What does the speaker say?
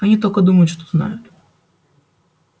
они только думают что знают